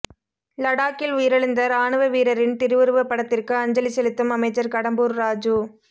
லடாக்கில் உயிரிழந்த ராணுவ வீரரின் திருவுருவப் படத்திற்கு அஞ்சலி செலுத்தும் அமைச்சர் கடம்பூர் ராஜு